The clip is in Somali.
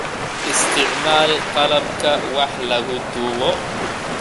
Isticmaal qalabka wax lagu duubo.